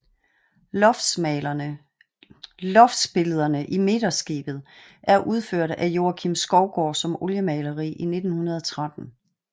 Loftsbillederne i midterskibet er udført af Joakim Skovgaard som oliemaleri i 1913